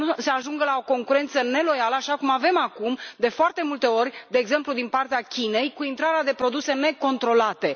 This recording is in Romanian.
ajungă la o concurență neloială așa cum avem acum de foarte multe ori, de exemplu din partea Chinei, cu intrarea de produse necontrolate?